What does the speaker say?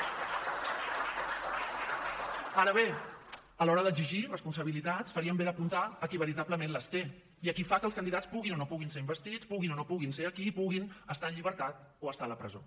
ara bé a l’hora d’exigir responsabilitats farien bé d’apuntar a qui veritablement les té i a qui fa que els candidats puguin o no puguin ser investits puguin o no puguin ser aquí i puguin estar en llibertat o estar a la presó